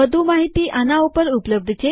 વધુ માહિતી આના ઉપર ઉપલબ્ધ છે